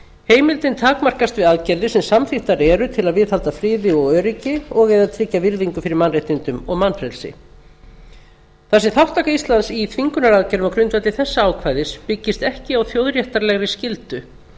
heimildin takmarkast við aðgerðir sem samþykktar eru til að viðhalda friði og öryggi og að tryggja virðingu fyrir mannréttindum og mannfrelsi þar sem þátttaka íslands í þvingunaraðgerðum á grundvelli þessa ákvæðis byggist ekki á þjóðréttarlegri skyldu